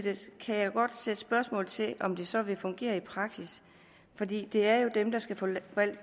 kan jeg godt sætte spørgsmålstegn ved om det så vil fungere i praksis fordi det jo er dem der skal forvalte